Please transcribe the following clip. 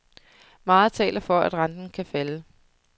Meget taler for, at renten kan falde.